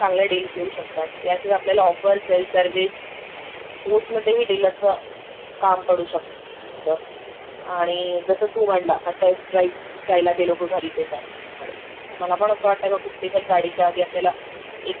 एक test drive घेणं गरजेचं आहे. त्यामुळे आपल्याला काय होतं ना कारचं इंजिन, त्याचं परफॉर्मन्स, मायलेज, त्याचे फीचर्स गाडीचं काय अं....रिसेल रिव्ह्यू असेल नाही रिसेल व्हॅल्यू असेल, त्याचं एसी कसं असेल..त्याच